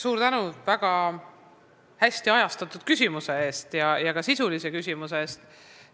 Suur tänu väga hästi ajastatud ja ka sisulise küsimuse eest!